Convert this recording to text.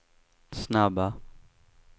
snabba